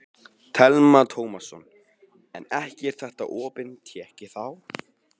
Telma Tómasson: En ekki er þetta opin tékki þá?